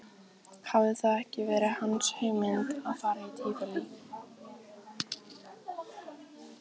Hafði það ekki verið hans hugmynd að fara í Tívolí?